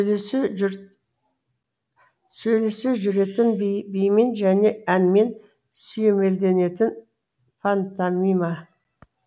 сөйлесе жүретін би бимен және әнмен сүйемелденетін пантомима